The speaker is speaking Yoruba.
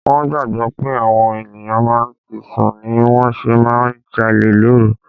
Wón gbàgbó pé àwọn ènìyàn máa ti sùn ni wón ṣe máa ń jalè lóru.